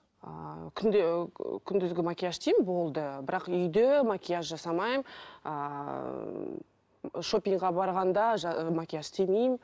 ыыы күнде ы күндізгі макияж істеймін болды бірақ үйде макияж жасамаймын ыыы шопингке барғанда макияж істемеймін